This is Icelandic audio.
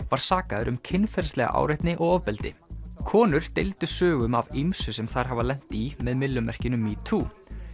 var sakaður um kynferðislega áreitni og ofbeldi konur deildu sögum af ýmsu sem þær hafa lent í með myllumerkinu metoo